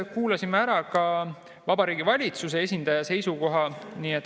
Kuulasime ära Vabariigi Valitsuse esindaja seisukoha.